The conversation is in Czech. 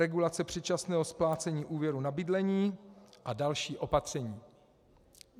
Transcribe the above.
Regulace předčasného splácení úvěrů na bydlení a další opatření.